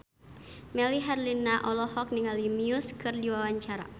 Melly Herlina olohok ningali Muse keur diwawancara